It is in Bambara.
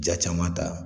Ja caman ta